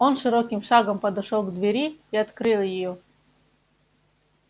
он широким шагом подошёл к двери и открыл её